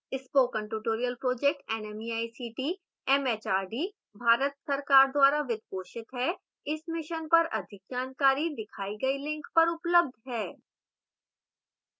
spoken tutorial project nmeict mhrd Bharat सरकार द्वारा वित्त पोषित है इस mission पर अधिक जानकारी दिखाई गई link पर उपलब्ध है